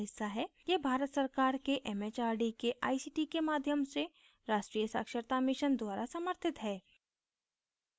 यह भारत सरकार के एमएचआरडी के आईसीटी के माध्यम से राष्ट्रीय साक्षरता mission द्वारा समर्थित है